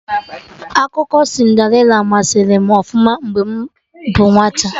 Akụkọ Cinderịla masari m ọfụma mgbe m bụ nwata